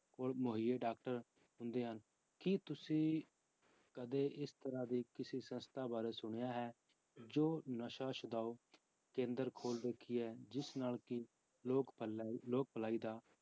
ਕੋਲ ਮੁਹੱਈਏ doctor ਹੁੰਦੇ ਹਨ, ਕੀ ਤੁਸੀਂ ਕਦੇ ਇਸ ਤਰ੍ਹਾਂ ਦੇ ਕਿਸੇ ਸੰਸਥਾ ਬਾਰੇ ਸੁਣਿਆ ਹੈ ਜੋ ਨਸ਼ਾ ਛੁਡਾਓ ਕੇਂਦਰ ਖੋਲ ਰੱਖੀ ਹੈ, ਜਿਸ ਨਾਲ ਕਿ ਲੋਕ ਭਲਾਈ ਲੋਕ ਭਲਾਈ ਦਾ